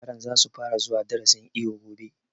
Yaran za su fara zuwa darasin iwo gobe